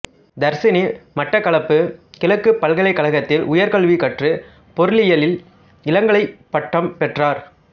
தர்சினி மட்டக்களப்பு கிழக்குப் பல்கலைக்கழகத்தில் உயர்கல்வி கற்று பொருளியலில் இளங்கலைப் பட்டம் பெற்றார்